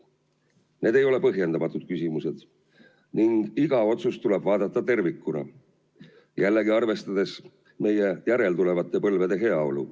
Need ei ole põhjendamatud küsimused ning iga otsust tuleb kaaluda tervikuna, jällegi arvestades meie järeltulevate põlvede heaolu.